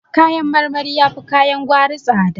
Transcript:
Kayan marmari yafi kayan gwari tsada